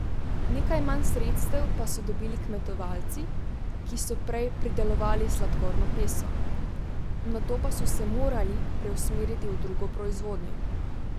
Nekaj manj sredstev pa so dobili kmetovalci, ki so prej pridelovali sladkorno peso, nato pa so se morali preusmeriti v drugo proizvodnjo.